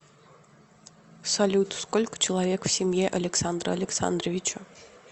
салют сколько человек в семье александра александровича